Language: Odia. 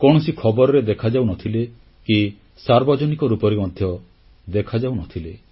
କୌଣସି ଖବରରେ ଦେଖାଯାଉନଥିଲେ କି ସାର୍ବଜନିକ ରୂପରେ ମଧ୍ୟ ଦେଖାଯାଉନଥିଲେ